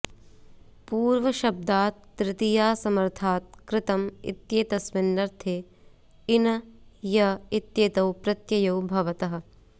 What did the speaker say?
पूर्वशब्दात् तृतीयासमर्थात् कृतम् इत्येतस्मिन्नर्थे इन य इत्येतौ प्रत्ययौ भवतः